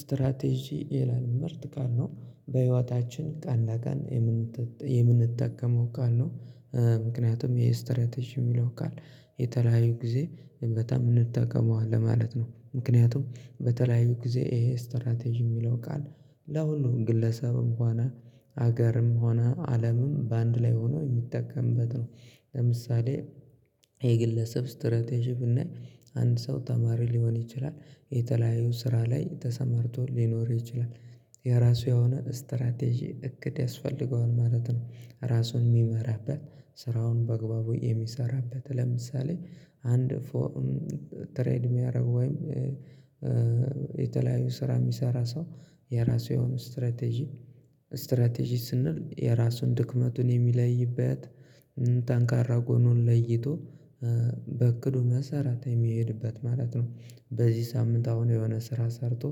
ስትራቴጂ የላልምርት ቃል ነው በህይወታችን ቃል ላቃን የምንጠቀመው ቃል ነው። ምክንያቱም ይሄ ስትራቴጂ የሚለው ቃል የተለያዩ ጊዜ በጣም እንጠቀመዋለን ለማለት ነው ምክንያቱም በተለያዩ ጊዜ ይሄ ስትራቴጂ የሚለው ቃል ለሁሉም ግለሰብም ሆነ ሀገርም ሆነ አለምም በአንድ ላይ ሆኖ የሚጠቀምበት ነው። ለምሳሌ የግለሰብ ስትራቴጂ ብናይ አንድ ሰው ተማሪ ሊሆን ይችላል። የተለያዩ ስራ ላይ ተሰማርቶ ሊኖር ይችላል የራሱ የሆነ ስትራቴጂ እቅድ ያስፈልገዋል ማለት ነው። ራሱን የሚመራበት ስራውን በአግባቡ የሚሰራበት ለምሳሌ አንድ ትሬድ የሚያደርግ ወይም የተለያዩ ስራ የሚሰራ ሰው የራሱ የሆነ ስትራቴጂ ስትራቴጂ ስንል የራሱን ድክመቱን የሚለይበት ጠንካራ ጎኑን ለይቶ በእቅዱ መሰረት የሚሄድበት ማለት ነው። በዚህ ሳምንት አሁን የሆነ ስራ ሰርቶ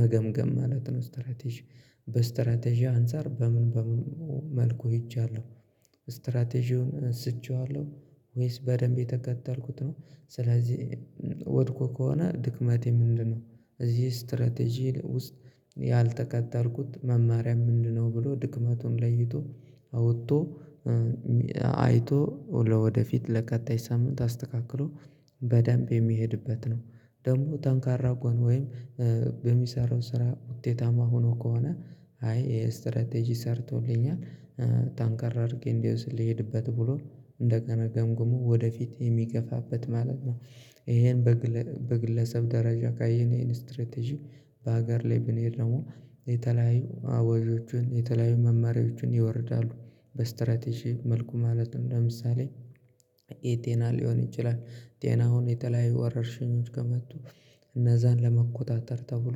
መገምገም ማለት ነው። ስትራቴጂ በስትራቴጂ አንፃር በምን በምን መልኩ ሄጃለሁ? ስትራቴጂውን አንስቼዋለሁ ወይስ በደንብ የተከተልኩት ነው። ስለዚህ ወድቆ ከሆነ ድክመቴ ምንድነው? እዚህ ስትራቴጂ ውስጥ ያልተከተልኩት መማሪያ ምንድነው? ብሎ ድክመቱን ለይቶ አውጥቶ አይቶ ለወደፊት ለቀጣይ ሳምንት አስተካክሎ በደንብ የሚሄድበት ነው። ደግሞ ጠንካራ ጎን ወይም በሚሰራው ስራ ውጤታማ ሆኖ ከሆነ አይ ይሄ ስትራቴጂ ሰርቶልኛል ጠንከር አድርጌ እንዲወስ ልሄድበት ብሎ እንደገና ገምግሞ ወደፊት የሚገፋበት ማለት ነው። ይሄን በግለሰብ ደረጃ ካየን ይሄን ስትራቴጂ በሀገር ላይ ብንሄድ ደግሞ የተለያዩ አዋጆችን የተለያዩ መማሪያዎችን ይወርዳሉ በስትራቴጂው መልኩ ማለት ነው። ለምሳሌ የጤና ሊሆን ይችላል ጤናውን የተለያየ ወረርሽኞች ከመጡ እነዛን ለመቆጣጠር ተብሎ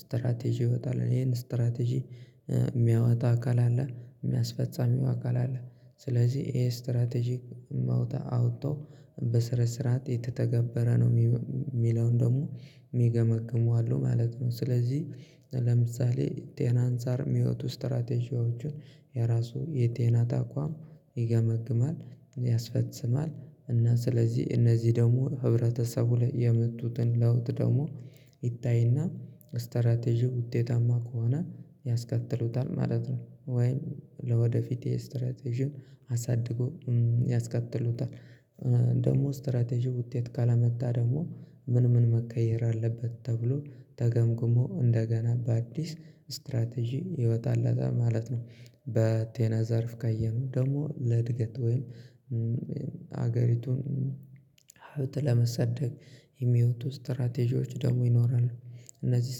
ስትራቴጂ ይወጣል ይሄን ስትራቴጂ የሚያወጣ አካል አለ የሚያስፈጻሚው አካል አለ። ስለዚህ ይሄ ስትራቴጂክ መውጣት አውጥቶ በስነስርዓት የተተገበረ ነው የሚለውን ደግሞ የሚገመግሙ አለው ማለት ነው። ስለዚህ ለምሳሌ ጤና አንፃር የሚወጡ ስትራቴጂዎችን የራሱ የጤናት ተቋም ይገመግማል ያስፈጽማል እና ስለዚህ እነዚህ ደግሞ ህብረተሰቡ ላይ የመጡትን ለውጥ ደግሞ ይታይና ስትራቴጂ ውጤታማ ከሆነ ያስከጥሉታል ማለት ነው። ወይም ለወደፊት የስትራቴጂውን አሳድጎ ያስከጥሉታል ደግሞ ስትራቴጂው ውጤት ካላመጣ ደግሞ ምን ምን መቀየር አለበት? ተብሎ ተገምግሞ እንደገና በአዲስ ስትራቴጂ ይወጣለታል ማለት ነው። በጤና ዘርፍ ካየነው ደግሞ ለእድገት ወይም ሀገሪቱን ለማሰደግ የሚወጡ ስትራቴጂዎች ደግሞ ይኖራሉ። እነዚህ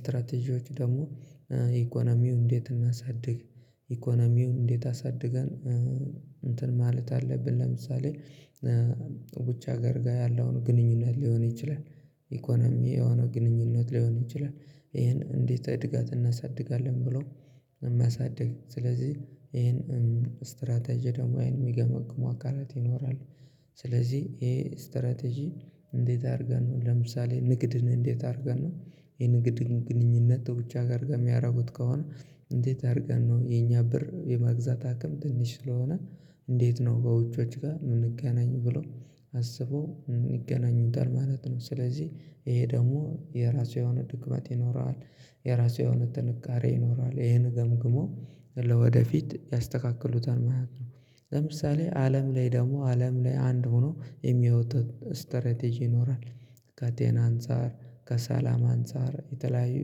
ስትራቴጂዎች ደግሞ ኢኮኖሚው እንዴት እናሳድግ ኢኮኖሚውም እንዴት አሳድገን እንትን ማለት አለብን ለምሳሌ ብቻ ሀገር ጋር ያለውን ግንኙነት ሊሆን ይችላል። ኢኮኖሚ የሆነው ግንኙነት ሊሆን ይችላል። ይሄን እንዴት እድጋት እናሳድጋለን ብሎ የማያሳድግ ስለዚህ ይሄን ስትራቴጂ ደግሞ ይሄን የሚገመግሙ አካላት ይኖራል። ስለዚህ ይሄ ስትራቴጂ እንዴት አድርገን ነው ለምሳሌ ንግድን እንዴት አድርገን ነው የንግድን ግንኙነት ብቻ ጋር ከሚያደርጉት ከሆነ እንዴት አድርገን ነው የኛ ብር የመግዛት አቅም ትንሽ ስለሆነ እንዴት ነው በውጪዎች ጋር የምንገናኝ ብሎ አስበው ይገናኙታል ማለት ነው። ስለዚህ ይሄ ደግሞ የራሱ የሆነ ድክመት ይኖረዋል የራሱ የሆነ ጥንካሬ ይኖረዋል ይሄንን ገምግሞ ለወደፊት ያስተካክሉታል ማለት ነው። ለምሳሌ አለም ላይ ደግሞ አለም ላይ አንድ ሆኖ የሚያወጡት ስትራቴጂ ይኖራል። ከጤና አንፃር ከሰላም አንፃር የተለያዩ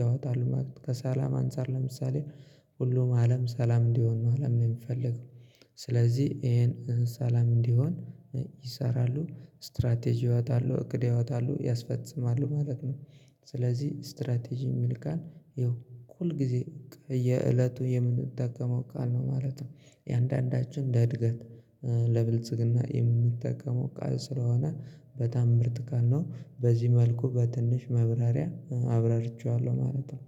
ያወጣሉ ከሰላም አንፃር ለምሳሌ ሁሉም አለም ሰላም እንዲሆን ነው አለም ነው የሚፈልገው ስለዚህ ይሄን ሰላም እንዲሆን ይሰራሉ ስትራቴጂ ያወጣሉ እቅድ ያወጣሉ ያስፈጽማሉ ማለት ነው። ስለዚህ ስትራቴጂ የሚል ቃል ይኸው ሁል ጊዜ የእለቱ የምንጠቀመው ቃል ነው ማለት ነው። እየንዳንዳችን ለእድገት ለብልጽግና የምንጠቀመው ቃል ስለሆነ በጣም ምርጥ ቃልነው በዚህ መልኩ በትንሽ ማብራሪያ አብራርቼዋለሁ ማለት ነው